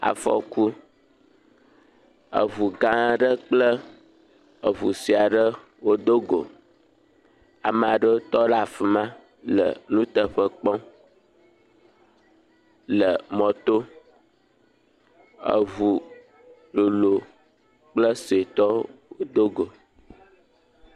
Afɔku. Eŋugã aɖe kple eŋusue aɖe wodogo. Ama ɖewo tɔ ɖe afi ma le nuteƒe kpɔm le mɔto. Eŋu lolo kple suetɔ wodogo.